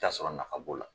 I bi t'a sɔrɔ nafa b'o la